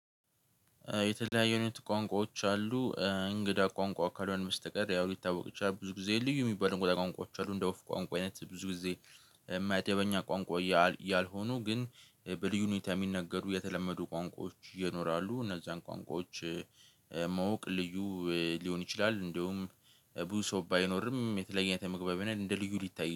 የተለያዩ አይነት ቋንቋዎች አሉ እንግዳ ቋንቋ ካልሆነ በስተቀር ያው ሊታወቅ ይችላል። ብዙ ጊዜ ልዩ ሚባለው ቋንቋዎች አሉ። እንደ ወፍ ቋንቋ አይነት ብዙ ጊዜ። መደበኛ ቋንቋ ያልሆኑ ግን በልዩ ሁኔታ የሚነገሩ የተለመዱ ቋንቋዎች ይኖራሉ። እነዛን ቋንቋዎች ማወቅ ልዩ ሊሆን ይችላል። እንደውም ብዙ ሰው ባይኖርም የተለየ መግባቢነት እንደ ልዩ ሊታይ